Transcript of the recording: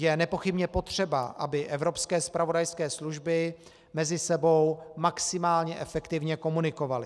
Je nepochybně potřeba, aby evropské zpravodajské služby mezi sebou maximálně efektivně komunikovaly.